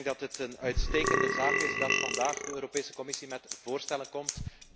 Ik denk dat het een uitstekende zaak is dat vandaag de Europese Commissie met voorstellen komt.